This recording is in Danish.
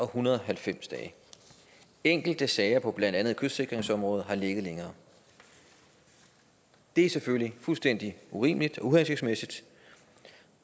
hundrede og halvtreds dage enkelte sager på blandt andet kystsikringsområdet har ligget længere det er selvfølgelig fuldstændig urimeligt og uhensigtsmæssigt